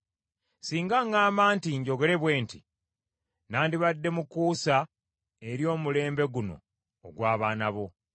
Singa ŋŋamba nti njogere bwe nti, nandibadde mukuusa eri omulembe guno ogw’abaana bo.